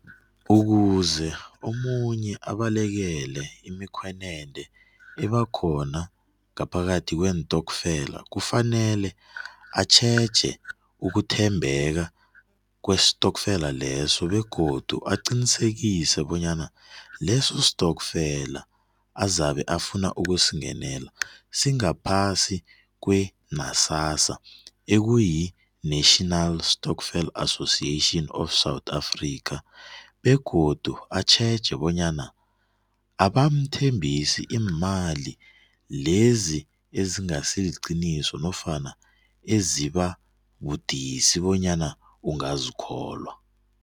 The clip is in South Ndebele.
Ukuze omunye abalekele imikhwenende ebakhona ngaphakathi kweentokfela kufanele atjheje ukuthembeka kwestokfela leso begodu aqinisekise bonyana leso stokfela azabe afuna ukusingenela singaphasi kwe ekuyi-National Stokfel Associaion of South Africa. Begodu atjheje bonyana bamthembisa iimali lezi ezingasiliqiniso nofana ezibabudisi bonyana ungazikholwa.